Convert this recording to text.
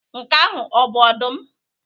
Nke ahụ ọ bụ ọdụm?